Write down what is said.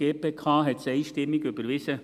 – Die GPK hat es einstimmig überwiesen.